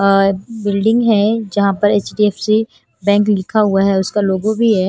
और बिल्डिंग है जहां पर एच_डी_एफ_सी बैंक लिखा हुआ है उसका लोगो भी है।